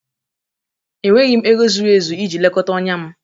Enweghị m ego zuru ezu iji lekọta ọnya m